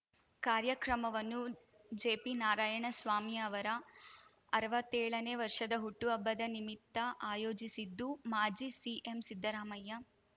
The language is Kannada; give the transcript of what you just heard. ಕಾರ್ಯಕ್ರಮವನ್ನು ಜೆಪಿನಾರಾಯಣಸ್ವಾಮಿ ಅವರ ಅರವತ್ತೇಳನೇ ವರ್ಷದ ಹುಟ್ಟು ಹಬ್ಬದ ನಿಮಿತ್ತ ಆಯೋಜಿಸಿದ್ದು ಮಾಜಿ ಸಿಎಂ ಸಿದ್ದರಾಮಯ್ಯ